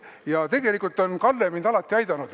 Ja tegelikult on Kalle mind alati aidanud.